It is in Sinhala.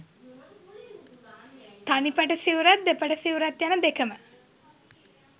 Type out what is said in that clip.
තනිපට සිවුරත් දෙපට සිවුරත් යන දෙකම